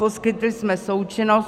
Poskytli jsme součinnost.